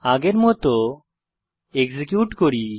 আগের মত এক্সিকিউট করি